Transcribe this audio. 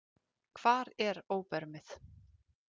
Hvar er óbermið?